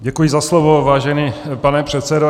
Děkuji za slovo, vážený pane předsedo.